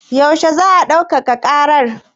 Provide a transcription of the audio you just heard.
Yaushe za a ɗaukaka ƙara?